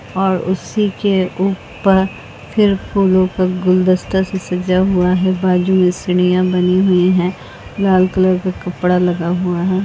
और उसी के ऊपर फिर फूलों का गुलदस्ता से सजा हुआ है बाजू में सीढियाँ बनी हुई हैं लाल कलर का कपडा लगा हुआ है।